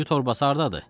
Düyü torbası hardadır?